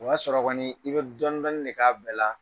O y'a sɔrɔ kɔni i bɛ dɔɔnin dninin de k'a bɛɛ la.